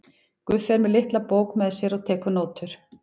Guffi er með litla bók með sér og tekur nótur.